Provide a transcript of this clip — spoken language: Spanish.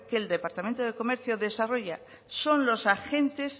que el departamento de comercio desarrolla son los agentes